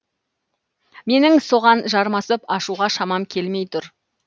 менің соған жармасып ашуға шамам келмей тұр